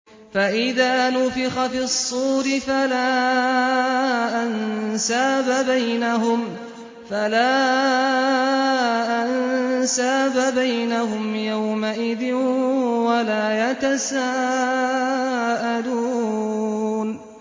فَإِذَا نُفِخَ فِي الصُّورِ فَلَا أَنسَابَ بَيْنَهُمْ يَوْمَئِذٍ وَلَا يَتَسَاءَلُونَ